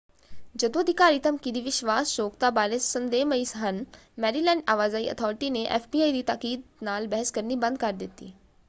ਜਦੋਂ ਅਧਿਕਾਰੀ ਧਮਕੀ ਦੀ ਵਿਸ਼ਵਾਸਯੋਗਤਾ ਬਾਰੇ ਸੰਦੇਹਮਈ ਹਨ ਮੈਰੀਲੈਂਡ ਆਵਾਜਾਈ ਅਥਾਰਟੀ ਨੇ ਐਫਬੀਆਈ ਦੀ ਤਾਕੀਦ ਨਾਲ ਬਹਿਸ ਕਰਨੀ ਬੰਦ ਕਰ ਦਿੱਤੀ।